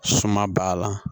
Suma b'a la